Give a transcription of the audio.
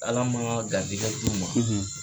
Ala maŋaa garisigɛ d'u ma